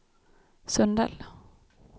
Sundell